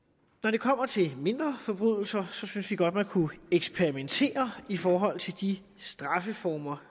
det kommer til mindre forbrydelser synes vi godt man kunne eksperimentere i forhold til de straffeformer